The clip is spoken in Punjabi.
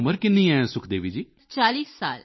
ਤੁਹਾਡੀ ਉਮਰ ਕਿੰਨੀ ਹੈ ਸੁਖਦੇਵੀ ਜੀ